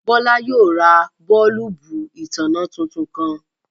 Bọ̀lá yóò rá bọ̀ọ̀lùbù itánná tuntun kan.